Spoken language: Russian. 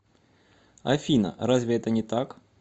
афина разве это не так